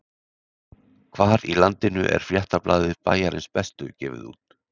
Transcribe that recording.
Hvar á landinu er fréttablaðið Bæjarins Bestu gefið út?